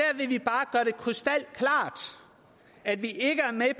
krystalklart at vi ikke er med